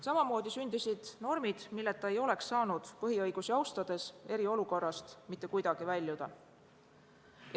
Samamoodi sündisid normid, milleta ei oleks saanud eriolukorrast põhiõigusi austades mitte kuidagi väljuda.